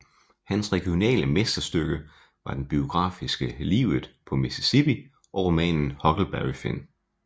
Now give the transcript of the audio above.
Hans regionale mesterstykke var den biografiske Livet på Mississippi og romanen Huckleberry Finn